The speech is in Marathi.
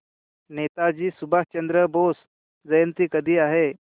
नेताजी सुभाषचंद्र बोस जयंती कधी आहे